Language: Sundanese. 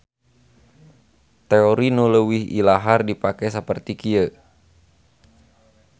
Teori nu leuwih ilahar dipake saperti kieu.